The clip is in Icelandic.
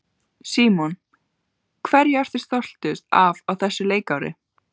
Símon: Hverju ertu stoltust af á þessu leikári?